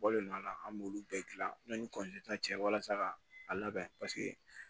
Bɔlen do a la an b'olu bɛɛ gilan yanni cɛ walasa ka a labɛn paseke